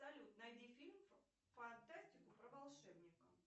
салют найди фильм фантастику про волшебника